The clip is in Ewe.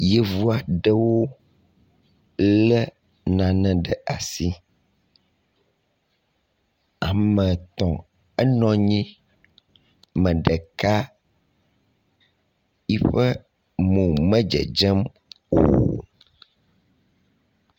Yevuaɖewo le nane ɖe asi ame etɔ̃ enɔnyi meɖeka yiƒe mò me dzedzem o